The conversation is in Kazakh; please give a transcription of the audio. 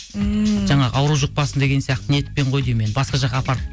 ммм жаңағы ауру жұқпасын деген сияқты ниетпен ғой деймін енді басқа жаққа апарып